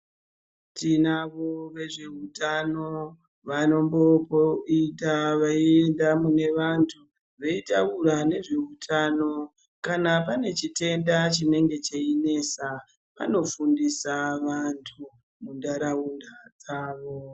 Tinavo vezveutano, vanombopo ita veienda mune vantu, veitaura nezveutano, kana pane chitenda chinenge cheinesa, vanofundisa vantu muntaraunda dzavo.